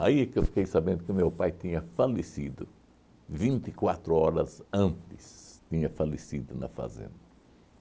que eu fiquei sabendo que meu pai tinha falecido, vinte e quatro horas antes tinha falecido na fazenda.